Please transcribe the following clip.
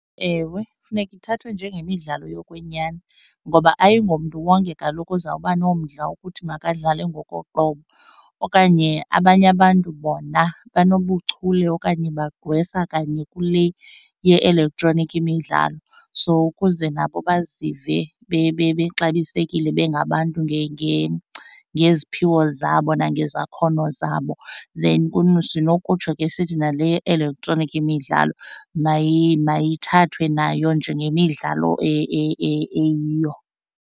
Ewe, kufuneka ithathwe njengemidlalo yokwenyani ngoba ayingomntu wonke kaloku uzawuba nomdla wokuthi makadlale ngokoqobo okanye abanye abantu bona benobuchule okanye bagqwesa kanye kule ye-elektroniki imidlalo. So ukuze nabo bazive bexabisekile bengabantu ngeziphiwo zabo nangezakhono zabo then sinokutsho ke sithi nale ye-elektroniki imidlalo mayithathwe nayo njengemidlalo eyiyo.